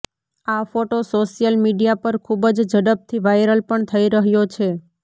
આ photo social media પર ખુબ જ ઝડપથી વાયરલ પણ થઇ રહ્યો છે